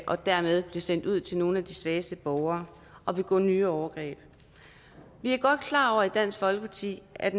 og dermed blive sendt ud til nogle af de svageste borgere og begå nye overgreb vi er godt klar over i dansk folkeparti at